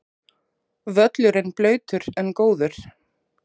Völlurinn blautur en góður